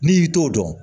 N'i t'o dɔn